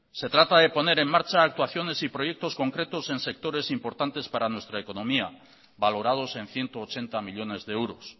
se trata de poner en marcha actuaciones y proyectos concretos en sectores importantes para nuestra economía valorados en ciento ochenta millónes de euros